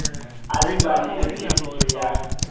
a lebane le pheletso ya